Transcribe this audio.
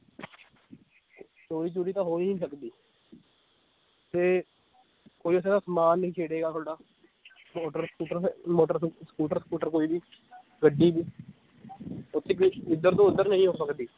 ਚੋਰੀ ਚੂਰੀ ਤਾਂ ਹੋ ਹੀ ਨੀ ਸਕਦੀ ਤੇ ਕੋਈ ਉੱਥੇ ਦਾ ਸਮਾਨ ਨੀ ਛੇੜੇਗਾ ਤੁਹਾਡਾ ਮੋਟਰ ਸਕੂਟਰ ਹੈ ਮੋਟਰ ਸਕੂਟਰ ਸਕੂਟਰ ਕੋਈ ਵੀ ਗੱਡੀ ਵੀ ਓਥੇ ਕੁਛ ਏਧਰ ਤੋਂ ਓਧਰ ਨਹੀਂ ਹੋ ਸਕਦੀ